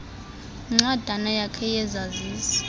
nencwadana yakho yesazisi